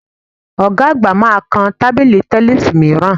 Ọ̀ga àgbà máa kan tábìlì tẹníìsì mìíràn